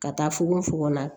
Ka taa fogofogo la